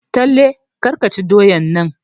Talle kar ka ci doyan nan!